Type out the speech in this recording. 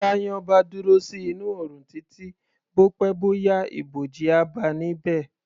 Bí èyàn bá dúró sí inú oòrùn títí, bó pẹ́ bó yá, ibòji, á báa níbẹ̀.